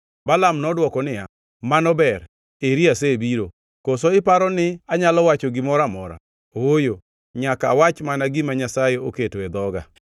Balaam nodwoko niya, “Mano ber, eri asebiro. Koso iparo ni anyalo wacho gimoro amora? Ooyo, nyaka awach mana gima Nyasaye oketo e dhoga.”